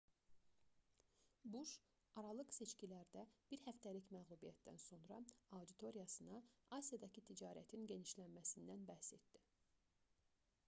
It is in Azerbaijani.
buş aralıq seçkilərdə bir həftəlik məğlubiyyətdən sonra auditoriyasına asiyadakı ticarətin genişlənməsindən bəhs etdi